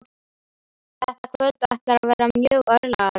Þetta kvöld ætlar að verða mjög örlagaríkt.